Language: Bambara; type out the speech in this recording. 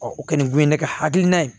o kɔni kun ye ne ka hakilina ye